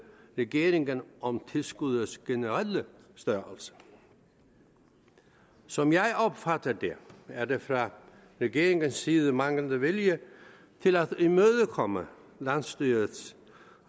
regeringen om tilskuddets generelle størrelse som jeg opfatter det er der fra regeringens side manglende vilje til at imødekomme landsstyrets